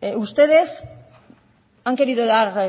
ustedes han querido dar